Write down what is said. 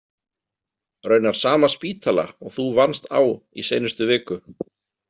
Raunar sama spítala og þú vannst á í seinustu viku.